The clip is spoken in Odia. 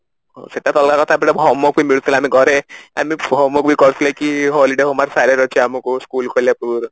ସେଟା ତ ଅଲଗା କଥା but homework ବି ମିଳୁଥିଲା ଆମେ ଘରେ ଆମେ homework ବି କରୁଥିଲେ କି holiday homework school ଖୋଲିବା ପୂର୍ବରୁ